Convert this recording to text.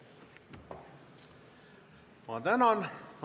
Ma tänan!